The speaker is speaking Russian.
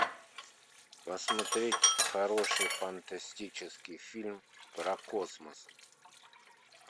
посмотреть хороший фантастический фильм про космос